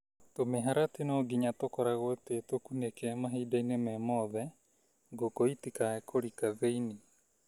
Tũmĩharatĩ no nginya tũkoragwo twĩtũkunĩke mahinda-inĩ mothe ngũkũ itikae kũrika thĩinĩ.